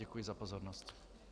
Děkuji za pozornost.